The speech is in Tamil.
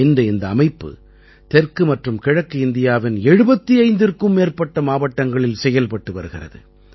இன்று இந்த அமைப்பு தெற்கு மற்றும் கிழக்கு இந்தியாவின் 75ற்கும் மேற்பட்ட மாவட்டங்களில் செயல்பட்டு வருகிறது